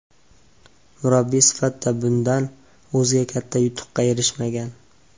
Murabbiy sifatida bundan o‘zga katta yutuqqa erishmagan.